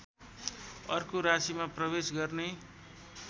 अर्को राशीमा प्रवेश गर्ने